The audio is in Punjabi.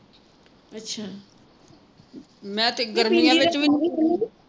ਅੱਛਾ